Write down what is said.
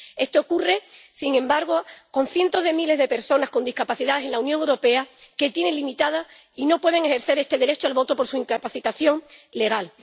Esto ocurre con cientos de miles de personas con discapacidad en la Unión Europea que tienen limitado y no pueden ejercer este derecho al voto por su incapacitación legal.